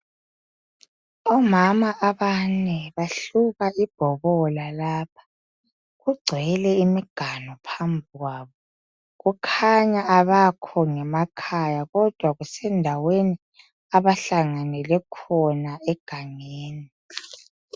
Omama abane bahluba ibhobola lapha kugcwele imiganu phambi kwabo kukhanya abekhona ngemakhaya kodwa kusendaweni abahlanganele khona egangeni.